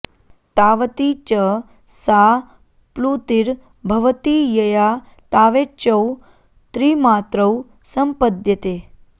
तावती च सा प्लुतिर् भवति यया तावेचौ त्रिमात्रौ सम्पद्येते